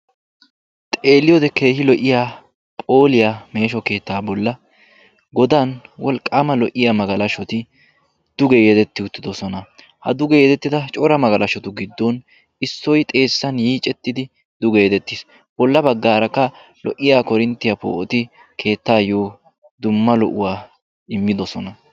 xeeliyode keehi lo'iya wolqaama lo'iya malashoti de'oosona. ha duge yedettida cora magalashotu giddon duge yedettiis. bola bagaarakka keetaayo immidosona.